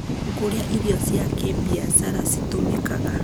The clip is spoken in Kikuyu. kũrĩa irio cia kĩbiashara citũmĩkaga